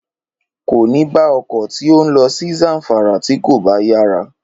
Kò ní bá ọkọ̀ tí ó ń lọ sí Zamfara tí kò bá yára